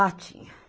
Ah, tinha.